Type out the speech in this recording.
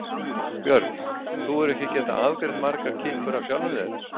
Björn: Þú hefur ekki getað afgreitt margar kippur af sjálfum þér?